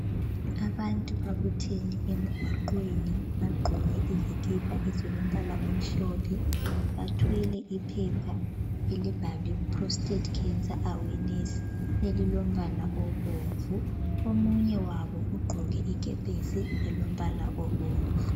Abantu babuthene emgwaqweni bagqoke izikipa ezilombala omhlophe, bathwele iphepha elibhalwe Prostate Cancer Awareness elilombala obomvu. Omunye wabo ugqoke ikepesi elombala obomvu.